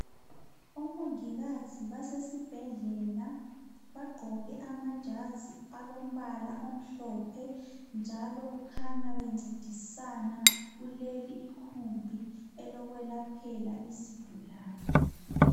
Omongikazi basesibhedlela. Bagqoke amajazi alombala omhlophe njalo bakhanya bencedisana kuleli ikhumbi elokwelaphela izigulane.